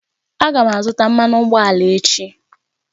Aga m azụta mmanụ ụgbọala echi